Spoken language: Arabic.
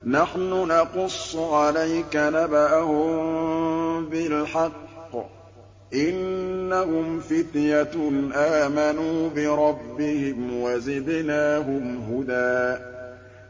نَّحْنُ نَقُصُّ عَلَيْكَ نَبَأَهُم بِالْحَقِّ ۚ إِنَّهُمْ فِتْيَةٌ آمَنُوا بِرَبِّهِمْ وَزِدْنَاهُمْ هُدًى